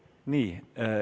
Vabandust!